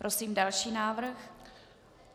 Prosím další návrh.